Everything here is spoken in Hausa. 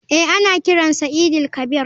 Eh ana kiran sa eid il kabir.